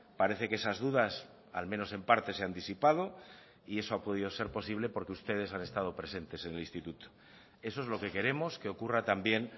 parece que esas dudas al menos en parte se han disipado y eso ha podido ser posible porque ustedes han estado presentes en el instituto eso es lo que queremos que ocurra también